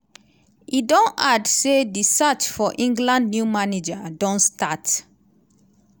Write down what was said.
e don add asy di searck for england new manager don start.